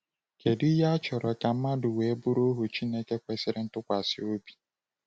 Kedu ihe a chọrọ ka mmadụ wee bụrụ ohu Chineke kwesịrị ntụkwasị obi?